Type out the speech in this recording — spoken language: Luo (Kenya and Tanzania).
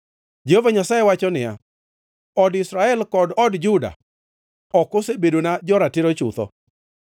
Jehova Nyasaye wacho niya, “Od Israel kod od Juda ok osebedona jo-ratiro chutho.”